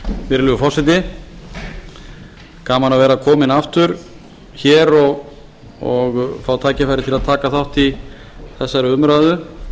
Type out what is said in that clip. virðulegur forseti gaman að vera kominn aftur hér og fá tækifæri til að taka þátt í þessari umræðu